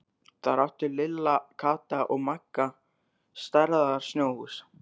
Þar áttu Lilla, Kata og Magga stærðar snjóhús.